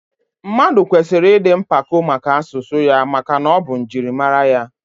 Mmadụ kwesịrị ịdị mpako maka asụsụ ya maka na ọ bụ njirimara ya